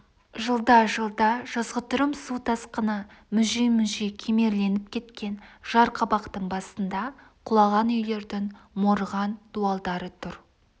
жылда-жылда жазғытұрым су тасқыны мүжи-мүжи кемерленіп кеткен жар қабақтың басында құлаған үйлердің морыған дуалдары тұр